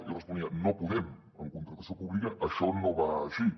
i jo responia no podem en contractació pública això no va així